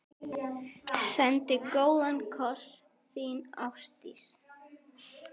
Sendi góðan koss, þín Ástdís.